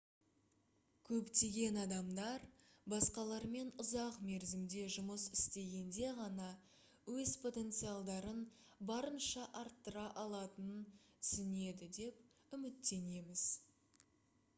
көптеген адамдар басқалармен ұзақ мерзімде жұмыс істегенде ғана өз потенциалдарын барынша арттыра алатынын түсінеді деп үміттенеміз